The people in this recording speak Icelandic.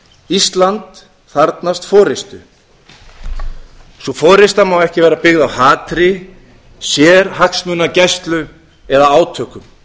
ísland þarfnast forustu sú forusta má ekki vera byggð á hatri sérhagsmunagæslu eða átökum